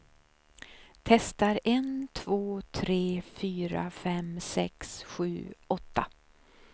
Testar en två tre fyra fem sex sju åtta.